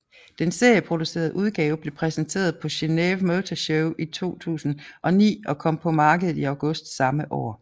Den serieproducerede udgave blev præsenteret på Geneve Motor Show i år 2009 og kom på markedet i august samme år